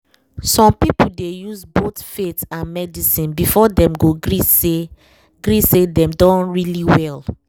some people dey use both faith and medicine before dem go gree say gree say dem don really well